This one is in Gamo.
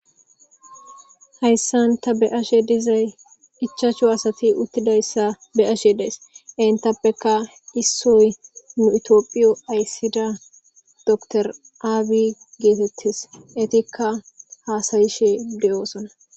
Hayssan tha be7ashee dizay ichchashu asathi uththidayssa be7ashee de7ays; henththappekka issoy nu ethoophiyo ayssida doctor abiy geetheththees; ethikka haasayishee de7oosona.